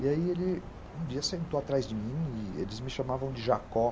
E aí ele um dia sentou atrás de mim e eles me chamavam de Jacó.